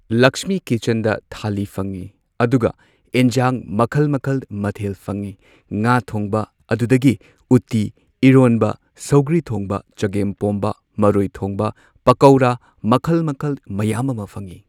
ꯂꯛꯁꯃꯤ ꯀꯤꯆꯟꯗ ꯊꯥꯂꯤ ꯐꯪꯉꯤ ꯑꯗꯨꯒ ꯏꯟꯖꯥꯡ ꯃꯈꯜ ꯃꯈꯜ ꯃꯊꯦꯜ ꯐꯪꯉꯤ꯫ ꯉꯥ ꯊꯣꯡꯕ ꯑꯗꯨꯗꯒꯤ ꯎꯇꯤ ꯏꯔꯣꯟꯕ ꯁꯧꯒ꯭ꯔꯤ ꯊꯣꯡꯕ ꯆꯥꯒꯦꯝꯄꯣꯝꯕ ꯃꯔꯣꯏ ꯊꯣꯡꯕ ꯄꯀꯧꯔꯥ ꯃꯈꯜ ꯃꯈꯜ ꯃꯌꯥꯝ ꯑꯃ ꯐꯪꯉꯤ꯫